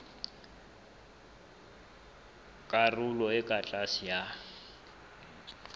karolong e ka tlase ya